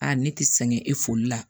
ne ti sɛgɛn e foli la